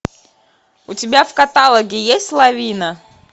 у тебя в каталоге есть лавина